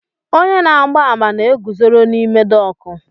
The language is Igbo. Onye na-agba àmà na-eguzoro n'ime dọọkụ